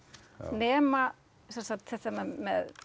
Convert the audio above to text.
nema sem sagt þetta með